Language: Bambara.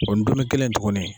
O ndomi kelen tuguni.